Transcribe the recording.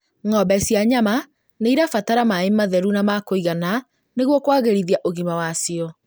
Ng'ombe cia nyama nĩirabatara maĩ matheru na ma kũigana nĩguo kwagĩrithia ũgima wacio